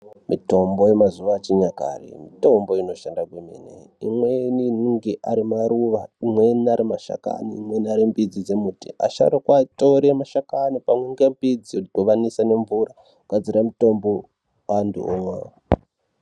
Mitombo yemazuwa yechinyakare mitombo inoshanda kwemene imweni inenge arimaruwa imweni arimashakani imweni airimbidzi dzembiti vasharuka tore mashakani pamwe nembidzi vodhibanisa nemvura kugadzire mutombo antu omwa.